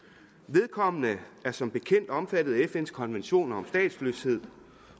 vedkommende er som bekendt omfattet af fns konventioner om statsløshed